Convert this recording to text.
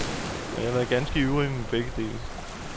Og jeg har været ganske ivrig med begge dele.